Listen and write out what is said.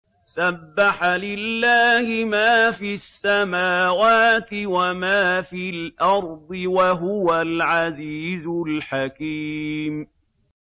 سَبَّحَ لِلَّهِ مَا فِي السَّمَاوَاتِ وَمَا فِي الْأَرْضِ ۖ وَهُوَ الْعَزِيزُ الْحَكِيمُ